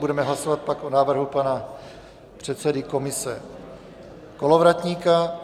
Budeme hlasovat pak o návrhu pana předsedy komise Kolovratníka.